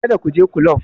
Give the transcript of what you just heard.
Kada ku je kulob!